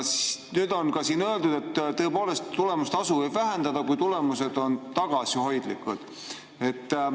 Nüüd on siin öeldud, tõepoolest, et tulemustasu võib vähendada, kui tulemused on tagasihoidlikud.